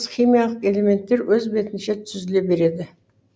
химиялық элементтер өз бетінше түзіле береді